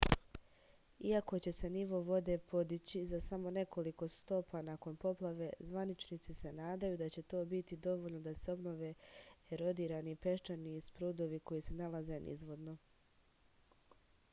iako će se nivo vode podići za samo nekoliko stopa nakon poplave zvaničnici se nadaju da će to biti dovoljno da se obnove erodirani peščani sprudovi koji se nalaze nizvodno